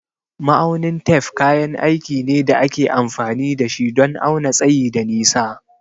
Ma'aunin tef kayan aiki ne da ake amfani da shi don auna tsayi da nisa.